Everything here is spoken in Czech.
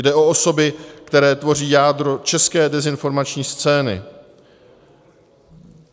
Jde o osoby, které tvoří jádro české dezinformační scény.